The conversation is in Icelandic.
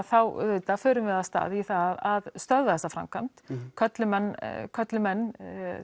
þá förum við af stað í að stöðva þessa framkvæmd köllum menn köllum menn